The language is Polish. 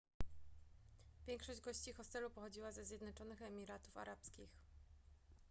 większość gości hostelu pochodziła ze zjednoczonych emiratów arabskich